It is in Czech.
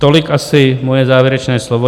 Tolik asi moje závěrečné slovo.